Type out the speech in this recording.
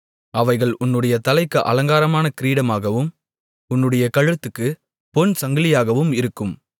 அவைகள் உன்னுடைய தலைக்கு அலங்காரமான கிரீடமாகவும் உன்னுடைய கழுத்துக்கு பொன் சங்கிலியாகவும் இருக்கும்